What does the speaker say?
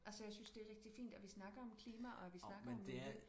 Altså jeg synes det er rigtig fint at vi snakker om klima og at vi snakker om det